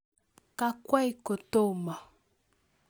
Kakwei kotomo